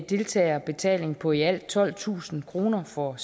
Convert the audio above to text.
deltagerbetaling på i alt tolvtusind kroner for